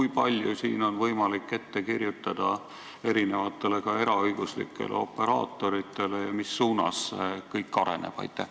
Kui palju siin on võimalik ette kirjutada erinevatele ka eraõiguslikele operaatoritele ja mis suunas kõik areneb?